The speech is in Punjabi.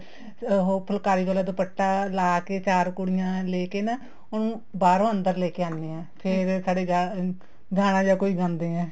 ਉਹ ਫੁਲਕਾਰੀ ਵਾਲਾ ਦੁਪੱਟਾ ਲਾਕੇ ਚਾਰ ਕੁੜੀਆਂ ਲੈਕੇ ਨਾ ਉਹਨੂੰ ਬਾਹਰੋ ਅੰਦਰੋ ਲੈਕੇ ਆਣੇ ਹਾਂ ਫ਼ੇਰ ਸਾਡੇ ਗਾਣਾ ਜਾ ਕੋਈ ਗਾਂਦੇ ਏ